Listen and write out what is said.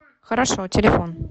хорошо телефон